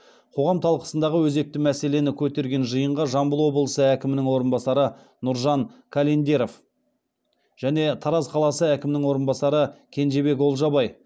қоғам талқысындағы өзекті мәселені көтерген жиынға жамбыл облысы әкімінің орынбасары нұржан календеров және тараз қаласы әкімінің орынбасары кенжебек олжабай